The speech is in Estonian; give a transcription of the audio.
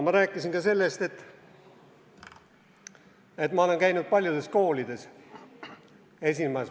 Ma rääkisin ka sellest, et ma olen käinud paljudes koolides esinemas.